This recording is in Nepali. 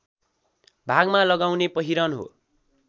भागमा लगाउने पहिरन हो